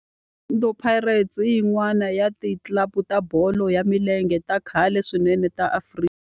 Orlando Pirates i yin'wana ya ti club ta bolo ya milenge ta khale swinene ta Afrika.